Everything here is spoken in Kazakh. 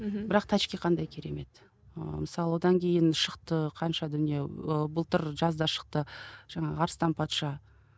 қандай керемет ыыы мысалы одан кейін шықты қанша дүние ы былтыр жазда шықты жаңағы арыстан патша